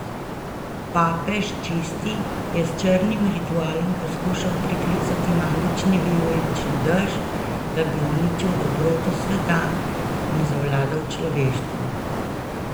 Papež Čisti je s črnim ritualom poskušal priklicati magični vijolični dež, da bi uničil dobroto sveta in zavladal človeštvu.